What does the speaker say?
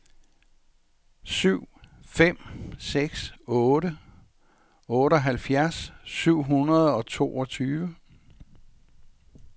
syv fem seks otte otteoghalvfjerds syv hundrede og toogtyve